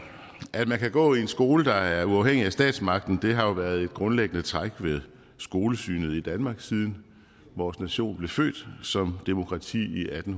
at man kan gå i en skole der er uafhængig af statsmagten har jo været et grundlæggende træk ved skolesynet i danmark siden vores nation blev født som demokrati i atten